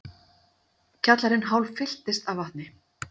Kjallarinn hálffylltist af vatni